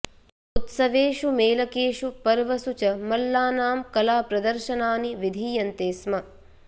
उत्सवेषु मेलकेषु पर्वसु च मल्लानां कलाप्रदर्शनानि विधीयन्ते स्म